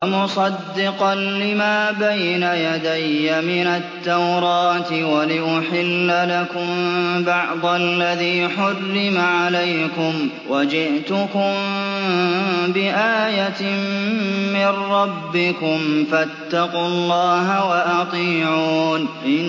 وَمُصَدِّقًا لِّمَا بَيْنَ يَدَيَّ مِنَ التَّوْرَاةِ وَلِأُحِلَّ لَكُم بَعْضَ الَّذِي حُرِّمَ عَلَيْكُمْ ۚ وَجِئْتُكُم بِآيَةٍ مِّن رَّبِّكُمْ فَاتَّقُوا اللَّهَ وَأَطِيعُونِ